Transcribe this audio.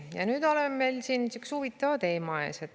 Ja nüüd oleme siin ühe huvitava teema ees.